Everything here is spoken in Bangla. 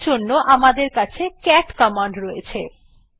এর জন্য আমাদের কাছে ক্যাট কমান্ড রয়েছে